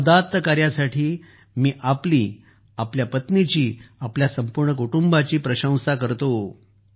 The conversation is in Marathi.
या उदात्त कार्यासाठी मी आपली आपल्या पत्नीची आपल्या कुटुंबाची प्रशंसा करतो